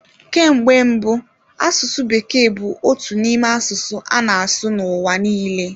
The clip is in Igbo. Ka mgbe mbụ asụsụ bekee bụ otu n'ime asụsụ a na-asụ n'ụwa niile.